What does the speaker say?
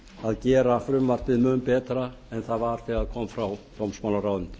að gera frumvarpið mun betra en það var þegar það kom frá dómsmálaráðuneytinu